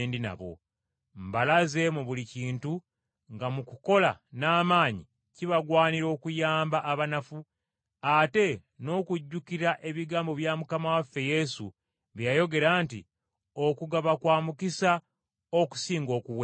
Mbalaze mu buli kintu nga mu kukola n’amaanyi, kibagwanira okuyamba abanafu, ate n’okujjukira ebigambo bya Mukama waffe Yesu bye yayogera nti, ‘Okugaba kwa mukisa okusinga okuweebwa.’ ”